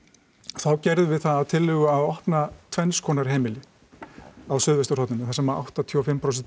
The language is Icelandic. þá gerðum við það að tillögu að opna tvenns konar heimili á suðvesturhorninu þar sem að áttatíu og fimm prósent